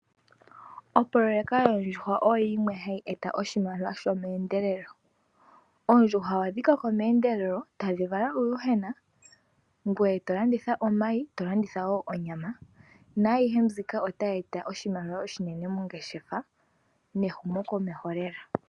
Opoloyeka yoondjuhwa oyo yimwe hayi eta oshimaliwa shomeendelelo. Oondjuhwa ohadhi koko meendelelo tadhi vala uuyuhwena, ngoye to landitha omayi, to landitha wo onyama naayihe mbika otayi eta oshimaliwa oshinene mongeshefa nehumo komeho lela.